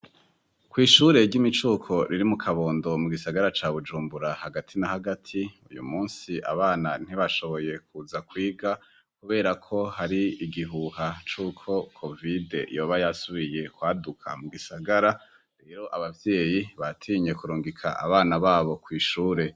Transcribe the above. kw' ishure ry'imicuko riri mu kabondo mu gisagara ca bujumbura hagati na hagati uyu munsi abana ntibashoboye kuza kwiga kubera ko hari igihuha cuko covide yoba yasubiye kwaduka mu gisagara rero abavyeyi batinye kurungika abana babo kw' ishure